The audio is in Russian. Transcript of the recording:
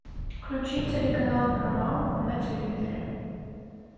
включи телеканал парамаунт на телевизоре